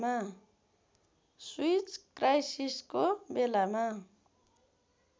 Swiss क्राइसिसको बेलामा